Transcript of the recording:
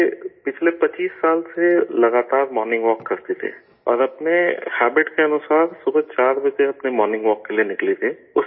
یہ پچھلے پچیس سال سے لگاتار مارننگ واک کرتے تھے اور اپنے ہیبٹ کے مطابق صبح 4 بجے اپنے مارننگ واک کے لیے نکلی تھیں